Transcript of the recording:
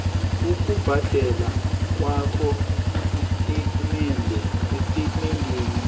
ukubhadela kwakho estatimendeni